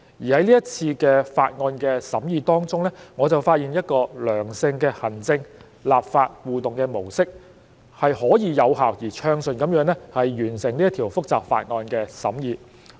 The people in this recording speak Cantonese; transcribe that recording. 在這次的法案審議工作當中，我就發現了一個良性的行政立法互動模式，是可以有效而暢順地完成這一項複雜法案的審議工作。